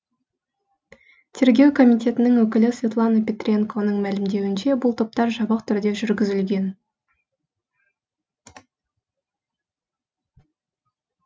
тергеу комитетінің өкілі светлана петренконың мәлімдеуінше бұл топтар жабық түрде жүргізілген